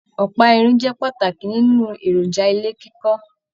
Ọpa irin jẹ pàtàkì nínú èròjà ilé kíkọ.